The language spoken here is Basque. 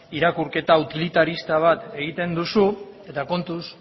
irakurketa utilitarista bat egiten duzu eta kontuz